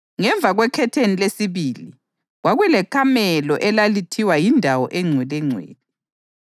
Ngemva kwekhetheni lesibili kwakulekamelo elalithiwa yiNdawo eNgcwelengcwele,